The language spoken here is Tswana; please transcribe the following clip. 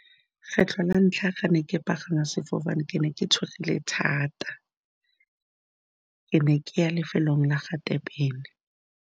Kgetlho la ntlha, ga ne ke pagama sefofane, ke ne ke tshogile thata. Ke ne ke ya lefelong la ga Durban.